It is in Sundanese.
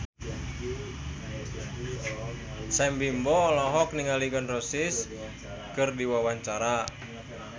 Sam Bimbo olohok ningali Gun N Roses keur diwawancara